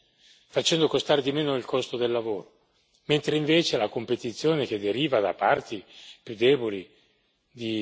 mentre invece la competizione che deriva da parti più deboli di popolazioni del mondo ha avuto il sopravvento.